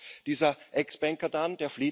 Und was macht dieser Ex Banker dann?